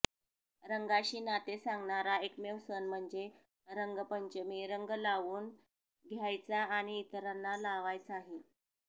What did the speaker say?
रंगाशी नाते सांगणारा एकमेव सण म्हणजे रंगपंचमी़ रंग लावून घ्यायचा आणि इतरांना लावायचाही